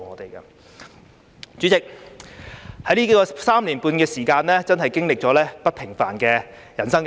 代理主席，在這3年半的時間，我真的經歷了不平凡的人生。